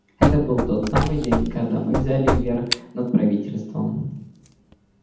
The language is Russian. это был тот самый день когда мы взяли верх над правительством